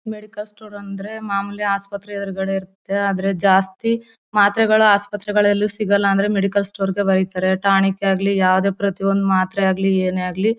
Medical store ಅಂದ್ರೆ ಮಾಮೂಲಿ ಹಾಸ್ಪತ್ರೆ ಎದುರಗಡೆ ಇರತ್ತೆ. ಆದ್ರೆ ಜಾಸ್ತಿ ಮಾತ್ರೆಗಳು ಹಾಸ್ಪತ್ರೆಗಳಲ್ಲೂ ಸಿಗಲ್ಲ ಅಂದ್ರೆ ಮೆಡಿಕಲ್ ಸ್ಟೋರ್ ಗೆ ಬರೀತಾರೆ. ಟಾನಿಕ್ ಆಗ್ಲಿ ಯಾವದೇ ಪ್ರತಿ ಒಂದ್ ಮಾತ್ರೆ ಆಗ್ಲಿ ಏನೇ ಆಗ್ಲಿ.